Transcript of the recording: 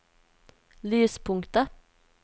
lyspunktet